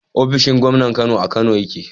ofishin Gomnan Kano a Kano yake